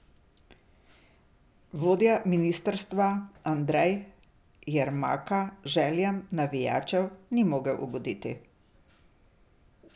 Vodja ministrstva Andrej Jermaka željam navijačem ni mogel ugoditi.